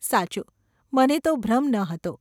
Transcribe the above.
‘સાચું. મને તો ભ્રમ ન હતો.